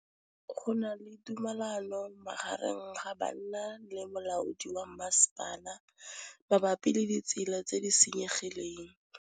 Go na le thulanô magareng ga banna le molaodi wa masepala mabapi le ditsela tse di senyegileng.